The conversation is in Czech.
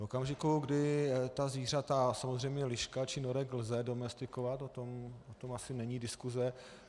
V okamžiku, kdy ta zvířata - samozřejmě lišku či norka lze domestikovat, o tom asi není diskuse.